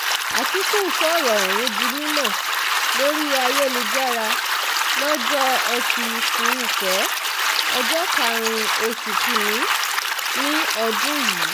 àtìkù sọ̀rọ̀ ọ̀hún di mímọ́ lórí ayélujára lọ́jọ́ etí furuufee ọjọ́ karùn-ún oṣù kín-ín-ní ọdún yìí